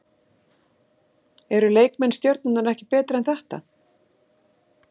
Eru leikmenn Stjörnunnar ekki betri en þetta?